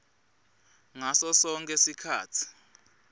ngaso sonkhe sikhatsi